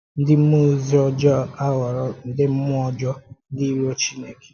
Ndị mmụọ ozi ọ̀jọọ a ghọrọ ndị mmụọ ọ̀jọọ, ndị író Chineke.